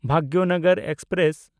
Bhagyanagar express